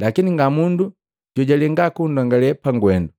Lakini ngamundu jojalenga kundongale pagwendu,